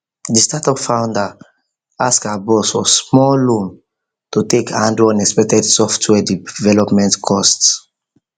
the startup founder ask her boss for small loan to take handle unexpected software development cost